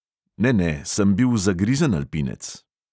Ne, ne, sem bil zagrizen alpinec.